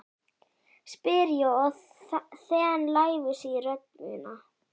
spyr ég og þen lævísi í rödd mína.